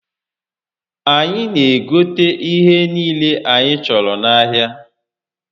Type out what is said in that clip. Anyi n'egote ihe niile anyi choro n'ahia